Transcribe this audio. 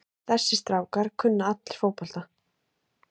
Þessir strákar kunna allir fótbolta.